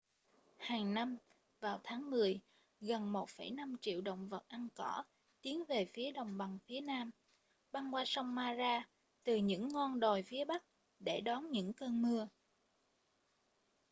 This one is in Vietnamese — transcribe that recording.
hàng năm vào tháng mười gần 1,5 triệu động vật ăn cỏ tiến về phía đồng bằng phía nam băng qua sông mara từ những ngon đồi phía bắc để đón những cơn mưa